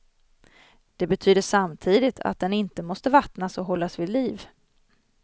Det betyder samtidigt att den inte måste vattnas och hållas vid liv.